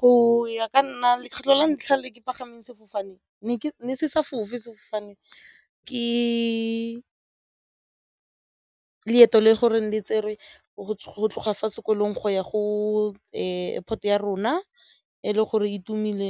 Go ya ka nna lekgetlho la ntlha le ke pagamang sefofaneng ne se sa fofe sefofane. Ke leeto le gore ne tserwe go tloga fa sekolong go ya go ya ko airport ya rona e le gore e tumile